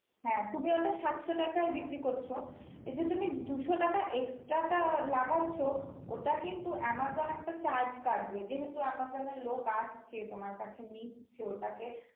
হ্যাঁ তুমি ওটা সাতশো টাকায় বিক্রি করছো. এই যে তুমি দুশো টাকা extra টা লাগাচ্ছো ওটা কিন্তু Amazon একটা charge কাটবে যেহেতু Amazon এর লোক আসছে তোমার কাছে নিচ্ছে ওটাকে